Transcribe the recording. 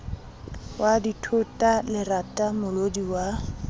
wa dithota lerata molodi wa